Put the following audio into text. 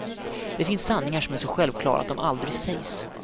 Det finns sanningar som är så självklara att de aldrig sägs.